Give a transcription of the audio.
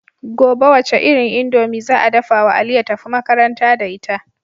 Gobe wace irin indomie za a dafawa ali ya tafi makaranta da ita